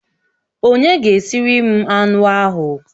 Onye ga-esiri m anụ ahụ?